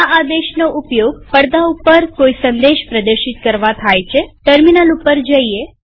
આ આદેશનો ઉપયોગ પડદા ઉપર કોઈ સંદેશ પ્રદર્શિત કરવા થાય છેટર્મિનલ ઉપર જઈએ